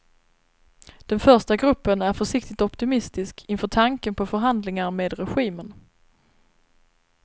Den första gruppen är försiktigt optimistisk inför tanken på förhandlingar med regimen.